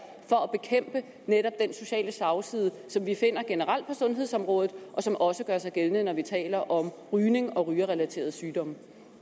for at bekæmpe netop den sociale slagside som vi finder generelt på sundhedsområdet og som også gør sig gældende når vi taler om rygning og rygerrelaterede sygdomme